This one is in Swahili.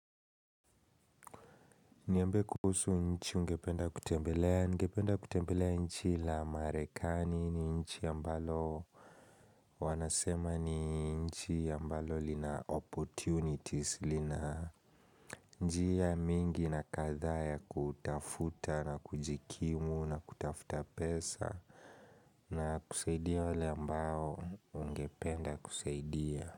Niambie kuhusu nchi ungependa kutembelea, nigependa kutembelea nchi la Marekani ni nchi ambalo Wanasema ni nchi ambalo lina opportunities lina njia mingi na kadhaa ya kutafuta na kujikimu na kutafuta pesa na kusaidia wale ambao wangependa kusaidia.